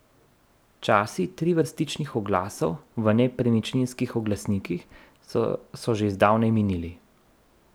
Časi trivrstičnih oglasov v nepremičninskih oglasnikih so že zdavnaj minili.